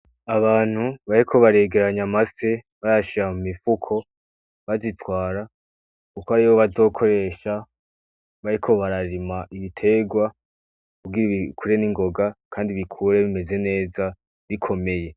Abantu bariko baregeranya amafi , bayashira mumifuko, bazitwara kuko ariyo bazokoresha bariko bararima ibiterwa kugira bikure ningoga Kandi bikure bimeze neza bikomeye .